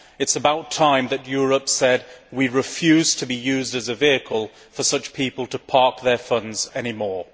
It is about time that Europe said that we refuse to be used as a vehicle for such people to park their funds any more.